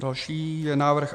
Další je návrh